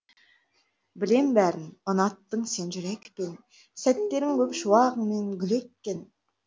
білем бәрін ұнаттың сен жүрекпен сәттерің көп шуағыңмен гүл еккен